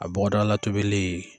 A bɔdagala tobili